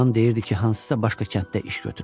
Anam deyirdi ki, hansısa başqa kənddə iş götürüb.